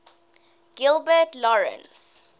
gilbert lawrence